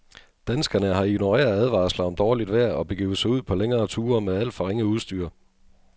Danskerne har ignoreret advarsler om dårligt vejr og begivet sig ud på længere ture med alt for ringe udstyr.